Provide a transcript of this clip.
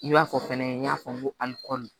I b'a fɔ fɛnɛ n y'a fɔ n ko alikɔri